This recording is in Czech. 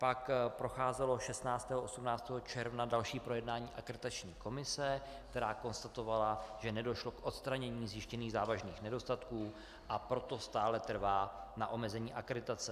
Pak procházelo 16. až 18. června další projednání Akreditační komise, která konstatovala, že nedošlo k odstranění zjištěných závažných nedostatků, a proto stále trvá na omezení akreditace.